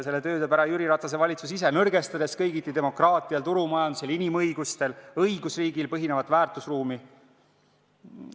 Selle töö teeb ära Jüri Ratase valitsus ise, nõrgestades kõigiti demokraatial, turumajandusel, inimõigustel, õigusriigil põhinevat väärtusruumi.